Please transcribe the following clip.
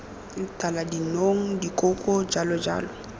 tala dinong dikoko jalo jalo